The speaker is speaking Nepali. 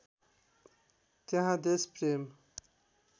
त्यहाँ देशप्रेम